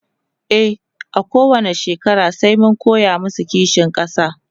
e a kowani shekara sai mun koya masu kishin ƙasa